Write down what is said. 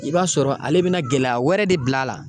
I b'a sɔrɔ ale bina gɛlɛya wɛrɛ de bila a la